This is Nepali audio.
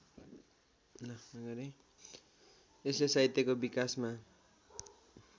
यसले साहित्यको विकासमा